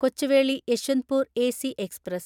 Kochuveli Yeshwantpur AC express